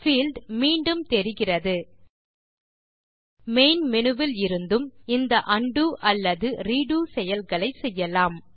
field மீண்டும் தெரிகிறது main menu விலிருந்தும் இந்த உண்டோ அல்லது ரெடோ செயல்களை செய்யலாம்